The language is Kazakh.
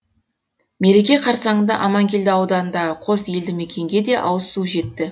мереке қарсаңында аманкелді ауданындағы қос елді мекенге де ауызсу жетті